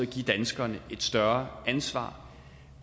give danskerne et større ansvar